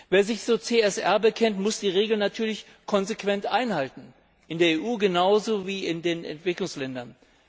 Wer sich zu CSR bekennt, muss die Regeln natürlich konsequent einhalten, in der EU genauso wie in den Entwicklungsländern.